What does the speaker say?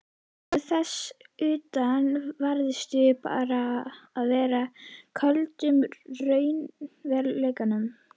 Og þess utan varðstu bara að vera í köldum raunveruleikanum.